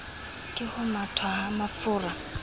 ke ho methwa ha mafura